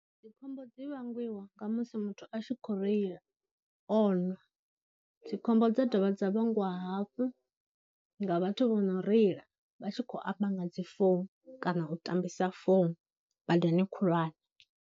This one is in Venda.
Dzikhombo dzi vhangiwa nga musi muthu a tshi khou reila o nwa, dzikhombo dza dovha dza vhangwa hafhu nga vhathu vho no reila vha tshi khou amba nga dzifounu kana u tambisa founu badani khulwane.